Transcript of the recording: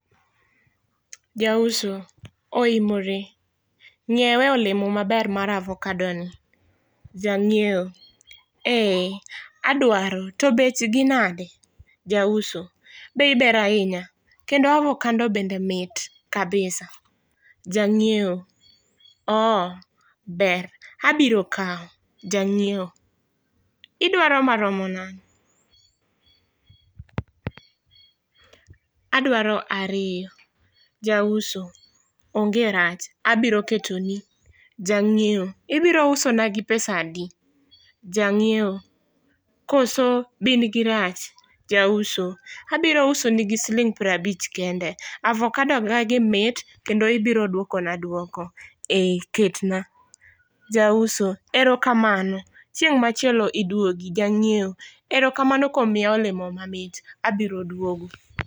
Jauso : Oimore, ng'iewe olemo maber mar avokado ni. Janyiewo: eeh adwaro to bechgi nade Jauso: bei ber ahinya kendo avokado bende mit kabisa Jangiewo; ooh ber abiro kaw Jangiewo: Idwaro maromo nade adwaro ariyo jauso: onge rach abiro ketoni Jangiewo: Ibiro usona gi pesa adi, koso bin girach Jauso: abiro usoni gi siling 50 kende, avokado na gi mit, kendo ibiro duokona duoko Jangiewo: eeh ketna Jauso: erokamano chieng machielo iduogi Jangiewo: erokamano kuom miya olemo mamit, abiro duogo